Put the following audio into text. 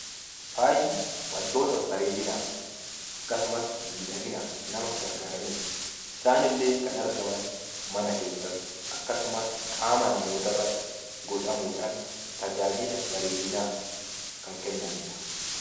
Faaya. Wantoota bareedinaaf akkasumas miidhaginaaf nama gargaaraniidha. Isaanillee mana keessatti akkasumas qaama namootaa irratti godhamuudhaan tajaajila bareedinaa kan kennaniidha.